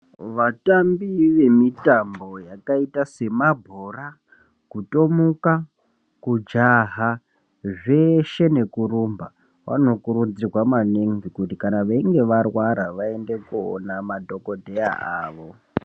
Vatambi vemitambo yakaita semabhora kutomuka kujaha zveshe nekurumba vanokurudzirwa maningi kuti kana veinge varwara vaende koona madhokodheya awo.